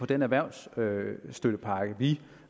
den erhvervsstøttepakke vi